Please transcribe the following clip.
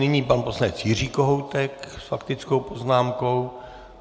Nyní pan poslanec Jiří Kohoutek s faktickou poznámkou.